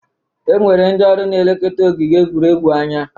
E nwere ndị ọrụ n'elekota ogige egwuregwu anya